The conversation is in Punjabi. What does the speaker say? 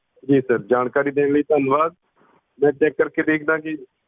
ਜੀ sir ਜਾਣਕਾਰੀ ਦੇਣ ਲਈ ਧੰਨਵਾਦ ਮੈਂ ਚੈੱਕ ਕਰ ਕੇ ਦੇਖਦਾ ਕੇ